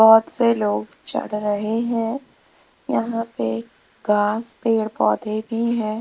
बहोत से लोग चढ़ रहे हैं यहां पे घास पेड़ पौधे भी है।